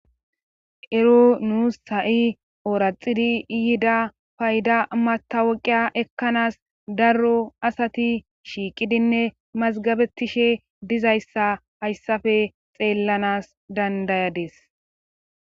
Ero nuus ha'i ooraxidi yida payda matawoqiya ekkanas darro asati shiiqidinne mazgabetishe dizayssa hayssafe xeellanas dandayades